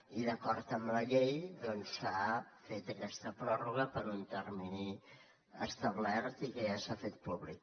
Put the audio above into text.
i d’acord amb la llei doncs s’ha fet aquesta pròrroga per un termini establert i que ja s’ha fet públic